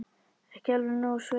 Ekki alveg nógu sveitó.